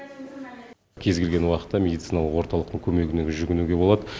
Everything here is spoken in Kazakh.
кез келген уақытта медициналық орталықтың көмегіне жүгінуге болады